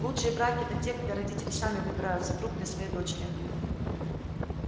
лучшие браки это те когда родители сами выбирают супруга для своей дочери